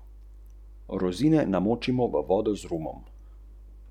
Direktor Mariborskega vodovoda Danilo Burnač sodbe ne komentira.